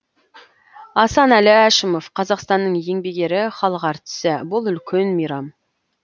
асанәлі әшімов қазақстанның еңбек ері халық әртісі бұл үлкен мейрам